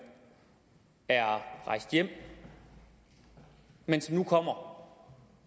er rejst hjem men som nu kommer